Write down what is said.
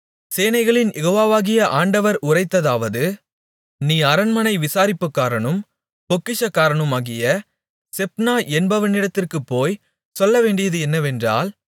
சேனைகளின் யெகோவாவாகிய ஆண்டவர் உரைத்ததாவது நீ அரண்மனை விசாரிப்புக்காரனும் பொக்கிஷக்காரனுமாகிய செப்னா என்பவனிடத்திற்குப்போய்ச் சொல்லவேண்டியது என்னவென்றால்